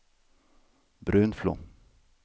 Brunflo